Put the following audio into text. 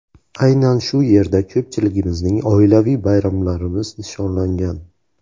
Aynan shu yerda ko‘pchiligimizning oilaviy bayramlarimiz nishonlangan.